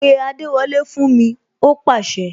Pé adewole fún mi!, ó pase